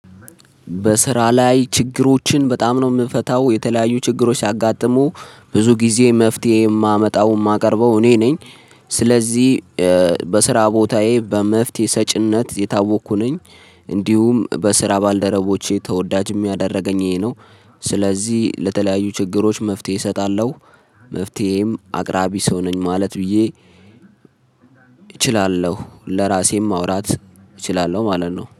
በስራ ላይ ችግሮችን በጣም ነው ምፈታው የተለያዩ ችግሮች ሲያጋጥሙ ብዙ ጊዜ መፍትሄ የማመጣው የማቀርበው እኔ ነኝ። ስለዚህ በስራ ቦታዬ በመፍትሄ ሰጪነት የታወቅኩ ነኝ። እንዲሁም በስራ ባልደረቦቼ ተወዳጅ የሚያደርገኝ ይሄ ነው። ስለዚህ ለተለያዩ ችግሮች መፍትሄ እሰጣለው። መፍትሄም አቅራቢ ሰውነኝ ማለት ብዬ እችላለው ለራሴም ማውራት እችላለው ማለት ነው